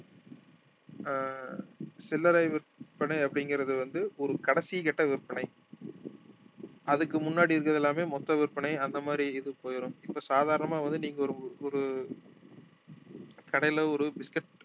ஆஹ் சில்லறை விற்பனை அப்படிங்கிறது வந்து ஒரு கடைசி கட்ட விற்பனைஅதுக்கு முன்னாடி இருக்கறது எல்லாமே மொத்த விற்பனை அந்த மாதிரி இது போயிரும் இப்ப சாதாரணமா வந்து நீங்க ஒரு ஒரு கடையில ஒரு biscuit